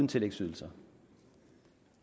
tillægsydelser